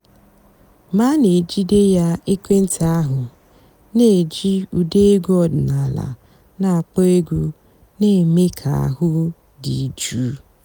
mg̀bé à nà-èjídé yá èkwééntị́ àhú́ nà-èjí ụ́dà ègwú ọ̀dị́náàlà nà-àkpọ́ ègwú nà-èmée kà àhú́ dị́ jụ́ụ́.